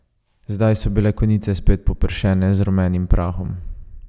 Zdaj so bile konice spet popršene z rumenim prahom.